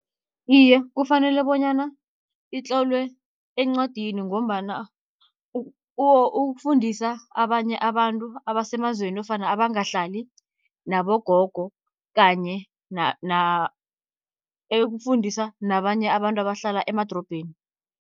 Iye, kufanele bonyana itlolwe encwadini, ngombana ukufundisa abanye abantu abasemazweni nofana abangahlali nabogogo, kanye ukufundisa nabanye abantu abahlala emadorobheni.